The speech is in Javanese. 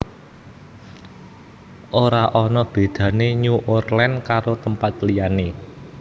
Ora ono bedane New Orleans karo tempat liyane